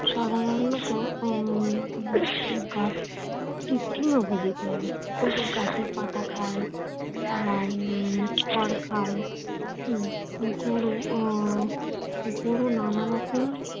উম সাধারনত উম তি তৃণভোজী প্রাণী। গাছের পাতা খায়। আর উম খড় খায় গরু আহ গরু নানা রকম